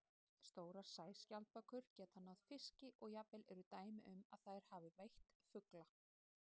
Stórar sæskjaldbökur geta náð fiski og jafnvel eru dæmi um að þær hafi veitt fugla.